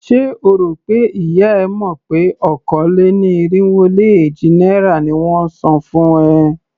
Ṣé o rò pé ìyá e mọ̀ pé okòó-lé-ní-irínwó-lé-èjì náírà ni won ń san fún ẹ?